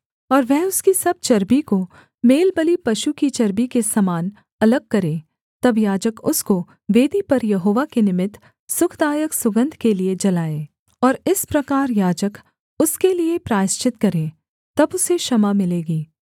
और वह उसकी सब चर्बी को मेलबलि पशु की चर्बी के समान अलग करे तब याजक उसको वेदी पर यहोवा के निमित्त सुखदायक सुगन्ध के लिये जलाए और इस प्रकार याजक उसके लिये प्रायश्चित करे तब उसे क्षमा मिलेगी